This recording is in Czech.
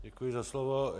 Děkuji za slovo.